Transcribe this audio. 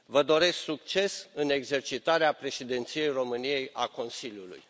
Vă doresc succes în exercitarea Președinției României a Consiliului.